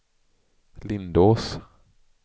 Lindås